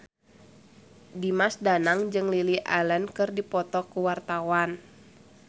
Dimas Danang jeung Lily Allen keur dipoto ku wartawan